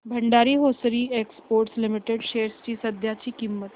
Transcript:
Bhandari hosiery exports limited shares ची सध्याची किंमत